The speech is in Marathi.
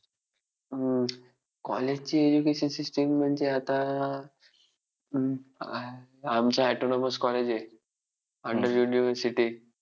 अं college ची education system म्हणजे आता अं आमचं autonomus college आहे under university